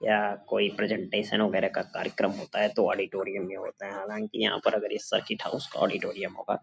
या कोई प्रेजेंटेशन वगैरा का कार्यक्रम होता है तो ऑडिटोरियम में होता है। हालांकि यहां पर अगर ये सर्किट हाउस का ऑडिटोरियम होगा।